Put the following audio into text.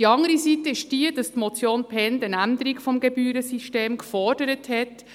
Die andere Seite ist die, dass die Motion Bhend eine Änderung des Gebührensystems gefordert hat: